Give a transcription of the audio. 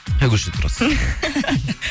қай көшеде тұрасыз